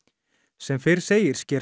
sem fyrr segir sker